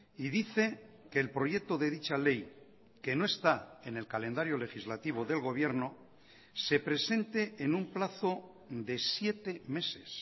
y dice que el proyecto de dicha ley que no está en el calendario legislativo del gobierno se presente en un plazo de siete meses